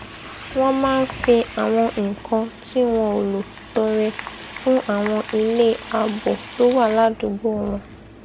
wón máa fi àwọn nǹkan tí wọn ò lò tọrẹ fún àwọn ilé ààbò tó wà ládùúgbò wọn